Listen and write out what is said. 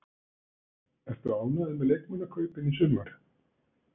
Ertu ánægður með leikmannakaupin í sumar?